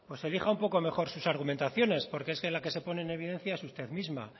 elija un poco mejor sus argumentaciones porque es que la que se pone en evidencia es usted misma